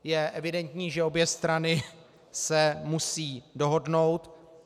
Je evidentní, že obě strany se musí dohodnout.